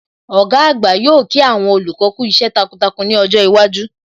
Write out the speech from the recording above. Ọ̀gá àgbà yóò kí àwọn olùkọ́ kú iṣẹ́ takuntakun ní ọjọ́ iwájú